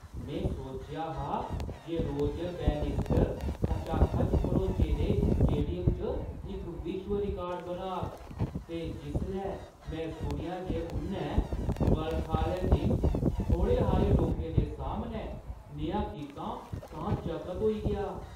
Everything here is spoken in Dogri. में सोचेआ हा जे रोजर बैनिस्टर खचाखच भरोचे दे स्टेडियम च इक विश्व रिकार्ड बनाग ते जिसलै में सुनेआ जे उʼन्नै बरखा आह्‌ले दिन थोह्ड़े हारे लोकें दे सामनै नेहा कीता तां चकत होई गेआ।